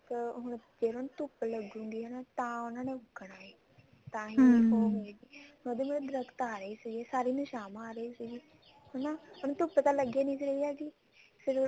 ਇੱਕ ਹੁਣ ਜੇ ਇਹਨਾ ਨੂੰ ਧੁੱਪ ਲੱਗੂ ਗੀ ਹਨਾ ਤਾਂ ਉਹਨਾ ਨੇ ਉੱਗਣਾ ਹੈ ਉਹਦੇ ਮਤਲਬ ਦਰਖਤ ਆ ਰਹੇ ਸੀ ਸਾਰੀ ਨੂੰ ਛਾਵਾਂ ਆ ਰਹੀ ਸੀ ਹਨਾ ਉਹਨੂੰ ਧੁੱਪ ਤਾਂ ਲੱਗ ਹੀ ਨੀ ਰਹੀ ਸੀ ਫ਼ੇਰ